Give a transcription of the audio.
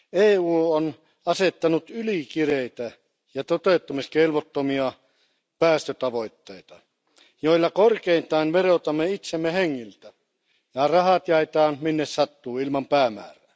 EU on asettanut ylikireitä ja toteuttamiskelvottomia päästötavoitteita, joilla korkeintaan verotamme itsemme hengiltä ja rahat jaetaan minne sattuu ilman päämäärää.